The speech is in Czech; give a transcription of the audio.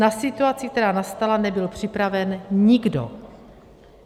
Na situaci, která nastala, nebyl připraven nikdo.